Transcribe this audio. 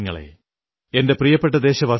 അതേപോലെയീ ഞാനും ശതംശതം നമിക്കുന്നു നിങ്ങളെ